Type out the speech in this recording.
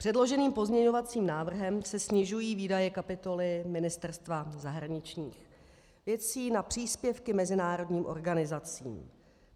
Předloženým pozměňovacím návrhem se snižují výdaje kapitoly Ministerstva zahraničních věcí na příspěvky mezinárodním organizacím.